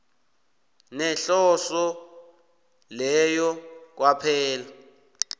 nehloso leyo kwaphela